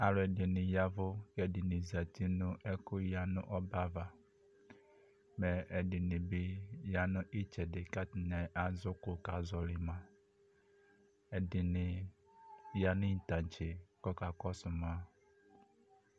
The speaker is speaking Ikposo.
Alʋɛdɩnɩ ya ɛvʋ kʋ ɛdɩnɩ zati nʋ ɛkʋ ya nʋ ɔbɛ ava, mɛ ɛdɩnɩ bɩ ya nʋ ɩtsɛdɩ kʋ atanɩ azɛ ʋkʋ kazɔɣɔlɩ ma Ɛdɩnɩ ya nʋ ɩtaŋtse kʋ akakɔsʋ ma